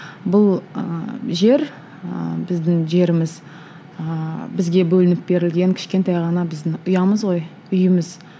бұл ы жер ы біздің жеріміз ыыы бізге бөлініп берілген кішкентай ғана біздің ұямыз ғой үйіміз